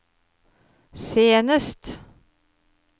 senest